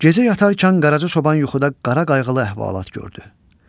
Gecə yatarkən Qaraca çoban yuxuda qara qayğılı əhvalat gördü.